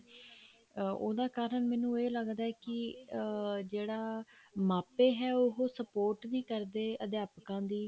ਉਹਨਾ ਕਾਰਨ ਮੈਨੂੰ ਇਹ ਲੱਗਦਾ ਹੈ ਕੀ ਅਮ ਜਿਹੜਾ ਮਾਪੇ ਹੈ ਉਹ support ਵੀ ਕਰਦੇ ਆ ਅਧਿਆਪਕਾਂ ਦੀ